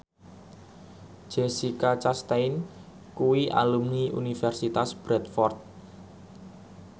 Jessica Chastain kuwi alumni Universitas Bradford